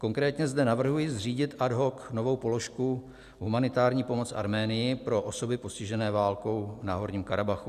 Konkrétně zde navrhuji zřídit ad hoc novou položku Humanitární pomoc Arménii pro osoby postižené válkou v Náhorním Karabachu.